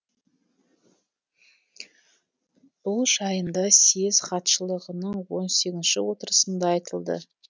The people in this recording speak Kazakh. бұл жайында съезд хатшылығының он сегізінші отырысында айтылды